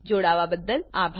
જોડાવાબદ્દલ આભાર